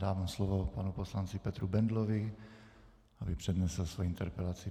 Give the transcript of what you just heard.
Dávám slovo panu poslanci Petru Bendlovi, aby přednesl svoji interpelaci.